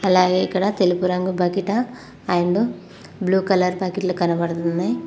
అలాగే ఇక్కడ తెలుపు రంగు బకిట అండ్ బ్లూ కలర్ బకిట్లు కనబడుతున్నాయి.